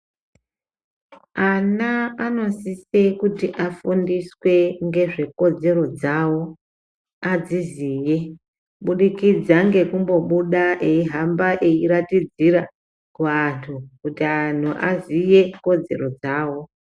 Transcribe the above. Ana anosise kuti afundiswe ngezvekodzero dzawo adziziye kubudikidza ngekumbobuda aimbohamba airatidzira kuantu kuti antu aziye kodzero dzawo .